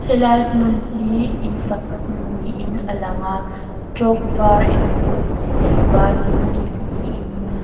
helai hum hi in sakna hmun niin a lang a chalk var emaw chinei varin kil li in--